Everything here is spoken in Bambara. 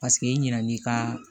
Paseke i ɲinɛn'i ka